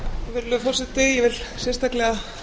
virðulegur forseti ég vil sérstaklega